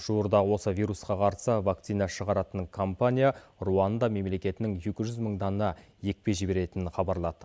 жуырда осы вирусқа қарсы вакцина шығаратын компания руанда мемлекетінің екі жүз мың дана екпе жіберетінін хабарлады